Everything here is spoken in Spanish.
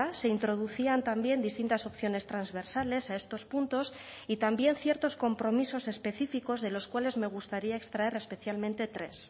se introducían también distintas opciones transversales a estos puntos y también ciertos compromisos específicos de los cuales me gustaría extraer especialmente tres